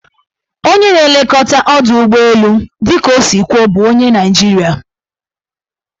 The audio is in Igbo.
Onye na-elekọta ọdọụgbọelu dịka o si kwuo bụ onye Naijiria.